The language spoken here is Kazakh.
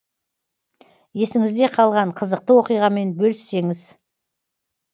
есіңізде қалған қызықты оқиғамен бөліссеңіз